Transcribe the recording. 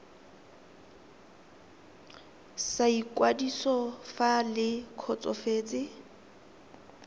sa ikwadiso fa le kgotsofetse